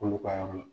Olu ka yɔrɔ la